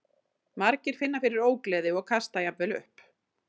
Margir finna fyrir ógleði og kasta jafnvel upp.